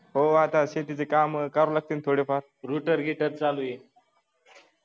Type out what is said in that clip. हो आता शेतीची काम कराल लागतील थोडी फार rooter heater चालू आहे.